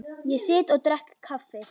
Ég sit og drekk kaffi.